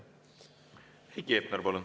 Heiki Hepner, palun!